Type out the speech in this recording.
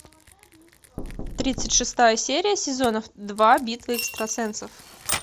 тридцать шестая серия сезона два битва экстрасенсов